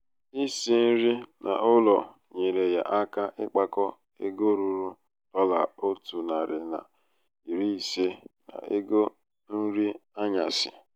isi nri n'ụlọ nyeere ya aka ịkpakọ ego ruru dọla ótu nari na iri ise n 'ego nri anyasị.